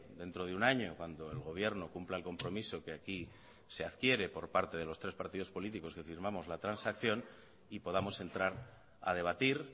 dentro de un año cuando el gobierno cumpla el compromiso que aquí se adquiere por parte de los tres partidos políticos que firmamos la transacción y podamos entrar a debatir